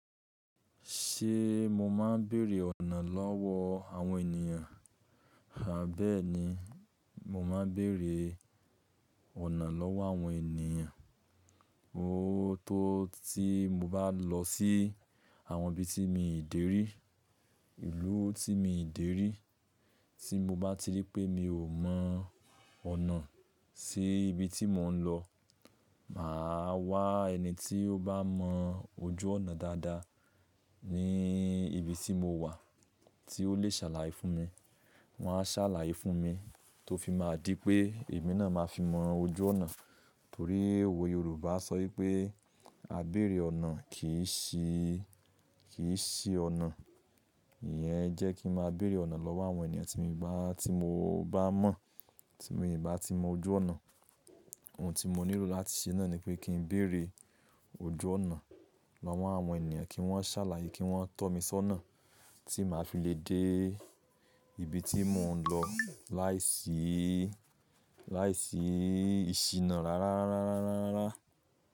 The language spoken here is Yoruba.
Ṣé mo máa ń béèrè ọ̀nà lọ́wọ́ àwọn ènìyàn? À bẹ́ẹ́ni mo máa ń béèrè ọ̀nà lọ́wọ́ àwọn ènìyàn. Ó tó tí mo bá lọ sí àwọn ibi tí mi dé rí, ìlú tí mi dé rí, tí mo bá ti rí pé mi ò mọ ọ̀nà sí ibi tí mò ń lọ, màá wá ẹni tí ó bá mọ ojú ọ̀nà dáadáa ní ibi tí mo wà tí ó lè ṣàlàyé fún mi. Wọn á ṣàlàyé fún mi tó fi máa di pé èmi náà máa fi mọ ojú ọ̀nà. Torí òwe Yorùbá sọ ipé "Àbéèrè ọ̀nà kìí ṣi, kìí ṣi ọ̀nà". Ìyẹn jẹ́ kí n máa béèrè ọ̀nà lọ́wọ́ àwọn ènìyàn tí mi bá, tí mo bá mọ̀, tí mi bá ti mọ ojú ọ̀nà. Ohun tí mo nílò láti ṣe náà nipé kí n béèrè ojú ọ̀nà lọ́wọ́ àwọn ènìyàn kí wọ́n ṣàlàyé, kí wọ́n tọ́ mi sọ́nà tí màá fi lè dé ibi tí mò ń lọ láìsí, láìsí ìṣìnà rárá, rárá, rárá, rárá.